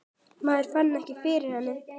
Maður fann ekki fyrir henni.